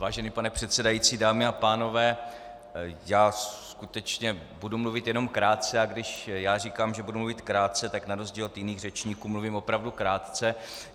Vážený pane předsedající, dámy a pánové, já skutečně budu mluvit jenom krátce, a když já říkám, že budu mluvit krátce, tak na rozdíl od jiných řečníků mluvím opravdu krátce.